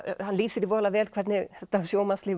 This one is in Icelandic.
hann lýsir því voðalega vel hvernig þetta